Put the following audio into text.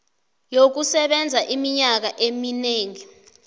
yokusebenza iminyaka eminengi